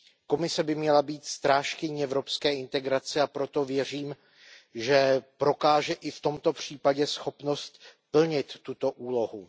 Komise by měla být strážkyní evropské integrace, a proto věřím, že prokáže i v tomto případě schopnost plnit tuto úlohu.